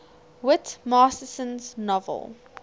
whit masterson's novel